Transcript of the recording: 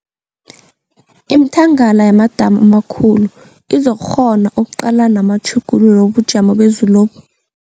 Imithangala yamadamu amakhulu izokukghona ukuqalana namatjhuguluko wobujamo bezulobu.